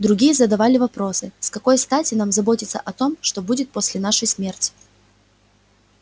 другие задавали вопросы с какой стати нам заботиться о том что будет после нашей смерти